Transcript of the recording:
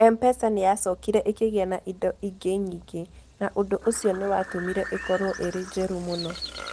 M-PESA nĩ yacokire ĩkĩgĩa na indo ingĩ nyingĩ, na ũndũ ũcio nĩ watũmire ĩkorũo ĩrĩ njerũ mũno.